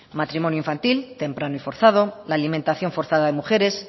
matrimonio infantil temprano y forzado la alimentación forzada de mujeres